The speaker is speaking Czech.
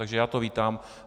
Takže já to vítám.